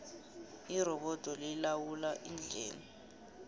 irobodo lilawula indlela